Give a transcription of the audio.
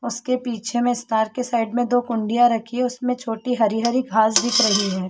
उसके पीछे में स्टार के साइड में दो कुंडियां रखी है उसमें छोटी हरी-हरी घास दिख रही है।